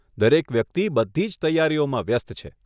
દરેક વ્યક્તિ બધી જ તૈયારીઓમાં વ્યસ્ત છે.